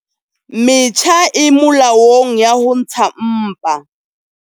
Metjha e molaong ya ho ntsha mpa